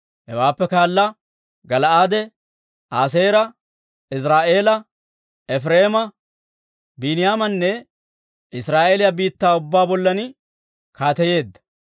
Hewaappe kaala Gala'aade, Aaseera, Iziraa'eela, Efireema, Biiniyaamanne Israa'eeliyaa biittaa ubbaa bollan kaateyeedda.